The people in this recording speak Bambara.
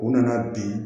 U nana bi